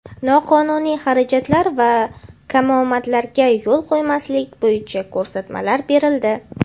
noqonuniy xarajatlar va kamomadlarga yo‘l qo‘ymaslik bo‘yicha ko‘rsatmalar berildi.